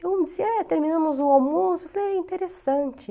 Eu disse, é, terminamos o almoço, eu falei, é interessante.